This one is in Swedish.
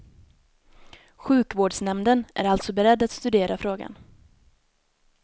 Sjukvårdsnämnden är alltså beredd att studera frågan.